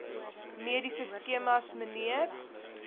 mediese skemas mnr